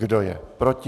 Kdo je proti?